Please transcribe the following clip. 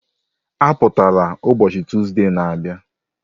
Apụtala ụbọchị Tọzdee na-abịa